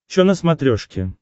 че на смотрешке